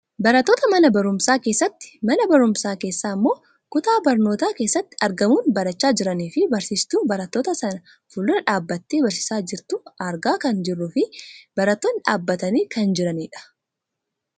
Barattoota mana barumsaa keessatti , mana barumsaa keessaa ammoo kutaa barnootaa keessatti argamun barachaa jiranii fi barsiistuu Barattoota sana fuuldura dhaabbattee barsiisaa jirtu argaa kan jirruufi barattootni dhaabbatanii kan jiranidha.